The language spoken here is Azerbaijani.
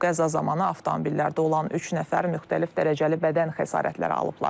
Qəza zamanı avtomobillərdə olan üç nəfər müxtəlif dərəcəli bədən xəsarətləri alıblar.